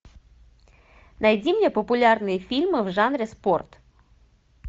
найди мне популярные фильмы в жанре спорт